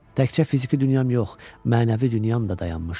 Təkcə fiziki dünyam yox, mənəvi dünyam da dayanmışdı.